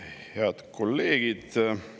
Head kolleegid!